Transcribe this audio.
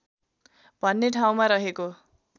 भन्ने ठाउँमा रहेको